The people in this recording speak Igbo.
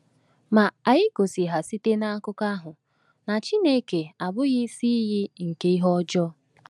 “Ma anyị gosi ha site n’akụkọ ahụ na Chineke abụghị isi iyi nke ihe ọjọọ.”